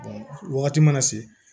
wagati mana se